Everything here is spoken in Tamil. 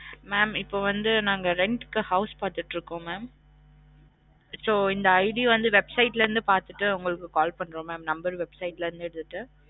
mam இப்ப வந்து நாங்க rent க்கு house பாத்திட்டு இருக்கோம் mam so இந்த ID வந்து வெப்சைட் ல இருந்து பாத்திட்டு உங்களுக்கு கால் பண்றோம் mam number வெப்சைட் ல இருந்து போட்டு